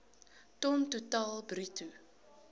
ton totaal bruto